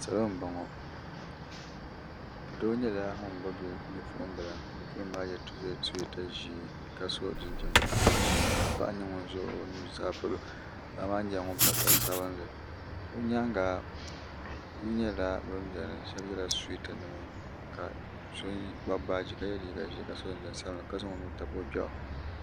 salo n boŋo doo nyɛla ŋun gbubi Bipuɣunbili ka bipuɣunbili maa yɛ suyeeta ʒiɛ ka so jinjɛm ash ka paɣa nyɛ ŋun ʒɛ o nuzaa polo paɣa maa nyɛla ŋun pa sari sabinli o nyaanga bihi nyɛla bin biɛni ka yɛ suyeeta nima ka so kpabi baaji ka so jinjɛm sabinli ka zaŋ o nuu tabi o gbiɣu